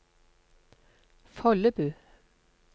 Follebu